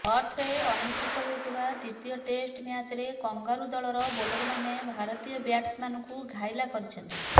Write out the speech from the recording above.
ପର୍ଥରେ ଅନୁଷ୍ଠିତ ହୋଇଥିବା ଦ୍ୱିତୀୟ ଟେଷ୍ଟ ମ୍ୟାଚରେ କଙ୍ଗାରୁ ଦଳର ବୋଲରମାନେ ଭାରତୀୟ ବ୍ୟାଟ୍ସମ୍ୟାନଙ୍କୁ ଘାଇଲା କରିଛନ୍ତି